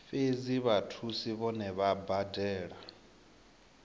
fhedzi vhathusi vhohe vha badela